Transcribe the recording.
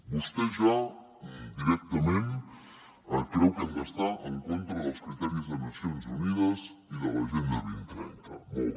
vostè ja directament creu que hem d’estar en contra dels criteris de nacions unides i de l’agenda dos mil trenta molt bé